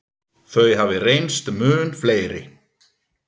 Þau hafi reynst mun fleiri.